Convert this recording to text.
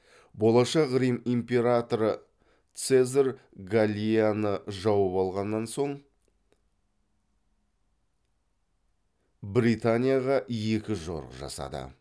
болашақ рим императоры цезарь галлияны жауып алған соң британияға екі жорық жасады